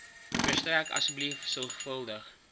verstrek asseblief sorgvuldige